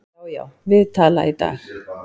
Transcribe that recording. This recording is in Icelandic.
Já, já, við tala í dag